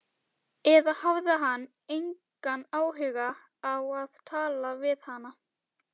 Eða hafði hann engan áhuga á að tala við hana?